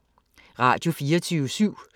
Radio24syv